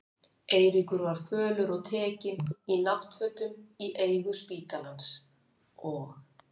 Eiríkur var fölur og tekinn, í náttfötum í eigu spítalans, og